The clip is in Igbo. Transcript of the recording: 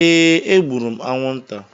Ee, egburu m anwụnta.